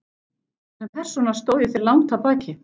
En sem persóna stóð ég þér langt að baki.